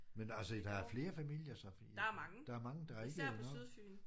Men altså der er flere familier så? Der er mange der er ikke noget